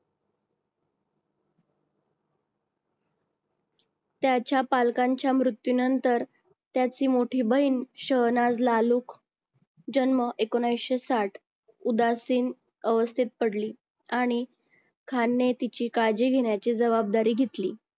त्याच्या पालकांच्या मृत्यूनंतर त्याची मोठी बहीण शौनाज लालूक जन्म एकोणविशे साठ उदासीन अवस्थेत पडली आणि खान ने तिची काळजी घेण्याची जबाबदारी घेतली.